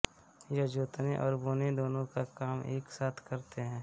ये जोतने और बोने दोनों का काम एक साथ करते हैं